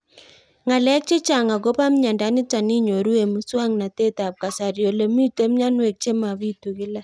Ng'alek chechang' akopo miondo nitok inyoru eng' muswog'natet ab kasari ole mito mianwek che mapitu kila